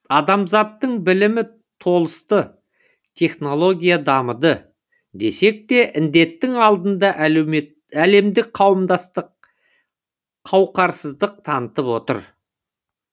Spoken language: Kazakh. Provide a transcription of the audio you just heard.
адамзаттың білімі толысты технология дамыды десек те індеттің алдында әлемдік қауымдастық қауқарсыздық танытып отыр